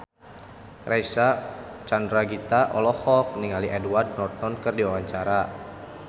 Reysa Chandragitta olohok ningali Edward Norton keur diwawancara